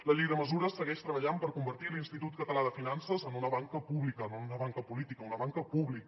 la llei de mesures segueix treballant per convertir l’institut català de finances en una banca pública no en una banca política en una banca pública